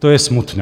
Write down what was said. To je smutné.